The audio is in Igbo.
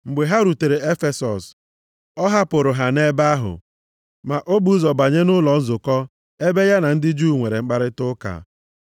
Mgbe ha rutere Efesọs, ọ hapụrụ ha nʼebe ahụ, ma o bu ụzọ banye nʼụlọ nzukọ ebe ya na ndị Juu nwere mkparịta ụka.